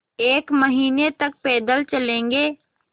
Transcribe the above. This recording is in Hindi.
एक महीने तक पैदल चलेंगे